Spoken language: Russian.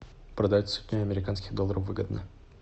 продать сотню американских долларов выгодно